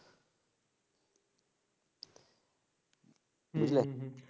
বুঝলে,